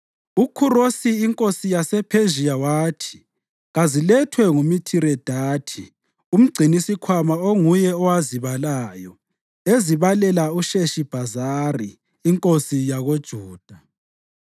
UKhurosi inkosi yasePhezhiya wathi kazilethwe nguMithiredathi umgcinisikhwama onguye owazibalayo ezibalela uSheshibhazari inkosana yakoJuda.